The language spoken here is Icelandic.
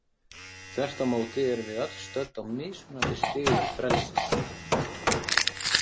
Þvert á móti erum við öll stödd á mismunandi stigum frelsis.